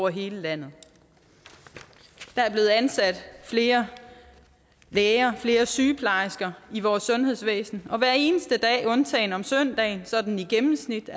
hele landet der er blevet ansat flere læger flere sygeplejersker i vores sundhedsvæsen og hver eneste dag undtagen om søndagen er sådan i gennemsnit